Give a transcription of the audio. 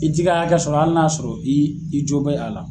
I t'i ka hakɛ sɔrɔ hali n'a y'a sɔrɔ i i jo bɛ a la.